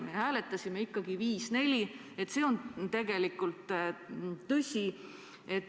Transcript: Me hääletasime ikkagi 5 : 4, see on tegelikult tõsi.